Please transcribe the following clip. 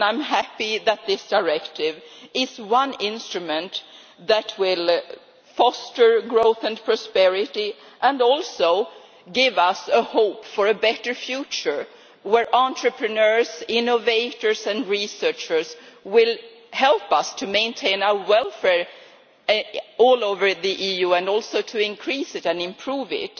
I am happy that this directive is one instrument that will foster growth and prosperity and give us hope for a better future, where entrepreneurs, innovators and researchers will help us to maintain our welfare all over the EU and also to increase and improve it.